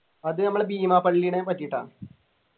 അത് നമ്മളെ ബീമാ പള്ളിനെ പറ്റിട്ടാണ്